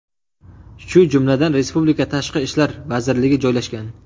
shu jumladan respublika Tashqi ishlar vazirligi joylashgan.